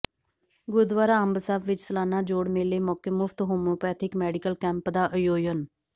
ਗੁਰਦੁਆਰਾ ਅੰਬ ਸਾਹਿਬ ਵਿੱਚ ਸਾਲਾਨਾ ਜੋੜ ਮੇਲੇ ਮੌਕੇ ਮੁਫ਼ਤ ਹੋਮਿਓਪੈਥਿਕ ਮੈਡੀਕਲ ਕੈਂਪ ਦਾ ਆਯੋਜਨ